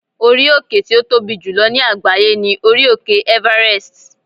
orí òkè ti o Tobi jùlọ ní àgbáyé ni orí òkè Everest